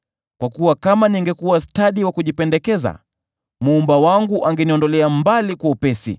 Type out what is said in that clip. kwa kuwa kama ningekuwa stadi wa kujipendekeza, Muumba wangu angeniondolea mbali kwa upesi.